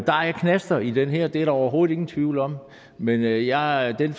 der er knaster i det her det er der overhovedet ingen tvivl om men jeg jeg er af den